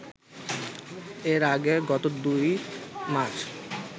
এর আগে গত ২ মার্চ